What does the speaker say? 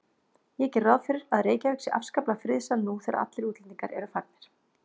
Ég geri ráð fyrir að Reykjavík sé afskaplega friðsæl nú þegar allir útlendingar eru farnir.